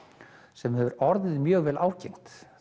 sem hefur orðið mjög vel ágengt